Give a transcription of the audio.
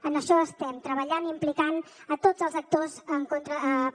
en això estem treballant i implicant a tots els actors per